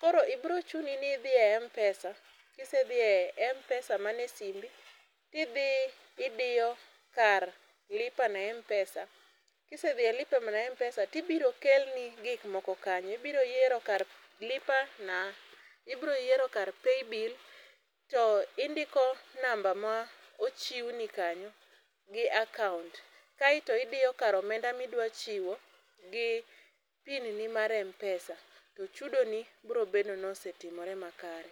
Koro bro chuni ni idhi e mpesa kisedhi e mpesa man e simbi idiyo kar lipa na mpesa kisedhi e lipa na mpesa ibro kelni gik moko kanyo ibro yiero kar lipa na mpesa oibro yiero kar paybill to indiko namba mochiwni kanyo gi akaunt kae to idiyo kar omenda midwa chiwo gi pin ni mar mpesa to chudo ni biro medo ni osetimore makare.